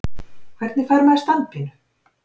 Hvernig fær maður standpínu?